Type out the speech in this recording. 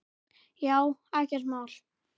Já, ekkert mál.